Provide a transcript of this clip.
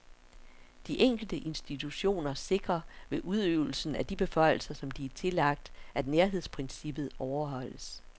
De enkelte institutioner sikrer ved udøvelsen af de beføjelser, som de er tillagt, at nærhedsprincippet overholdes.